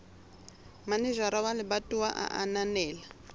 manejara wa lebatowa a ananela